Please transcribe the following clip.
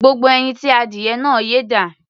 Gbogbo ẹyin tí adìyẹ náà yé dà?